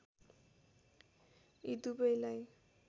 यी दुवैलाई